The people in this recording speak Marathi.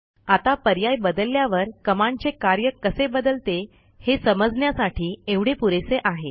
आता पर्याय बदलल्यावर कमांडचे कार्य कसे बदलते हे समजण्यासाठी एवढे पुरेसे आहे